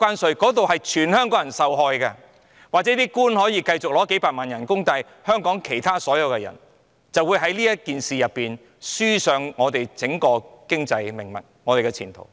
儘管如此，官員也許仍可以繼續領取幾百萬元的工資，但香港其他所有人便會就此輸掉香港的整體經濟命脈及前途了。